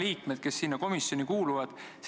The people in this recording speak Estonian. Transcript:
Helmen Kütt, palun!